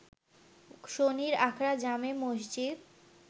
শনিরআখড়া জামে মসজিদ